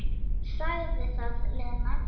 Sagði það, Lena.